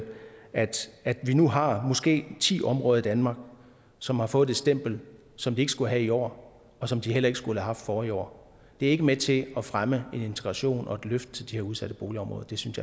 vi nu har måske ti områder i danmark som har fået det stempel som de ikke skulle have i år og som de heller ikke skulle haft forrige år det er ikke med til at fremme en integration og et løft til de her udsatte boligområder det synes